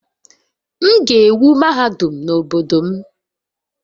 M ga-ewu mahadum n'obodo m